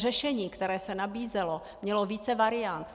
Řešení, které se nabízelo, mělo více variant.